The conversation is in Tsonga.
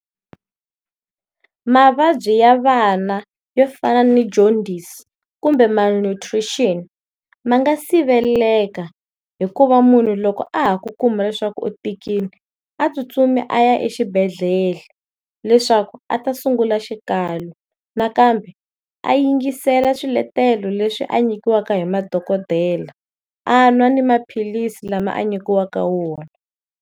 Mavabyi ya vana yo fana ni Jaundies kumbe Malnutrition ma nga siveleleka hikuva munhu loko a ha ku kuma leswaku u tikile a tsutsumi a ya exibedhlele leswaku a ta sungula xikalo nakambe a yingisela swiletelo leswi a nyikiwaka hi madokodela a nwa ni maphilisi lama a nyikiwaka wona.